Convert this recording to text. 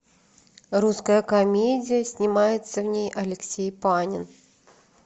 русская комедия снимается в ней алексей панин